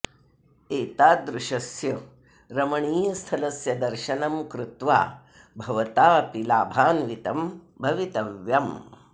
एतादृशस्य रमणीयस्थलस्य दर्शनं कृत्वा भवता अपि लाभान्वितं भवितव्यम्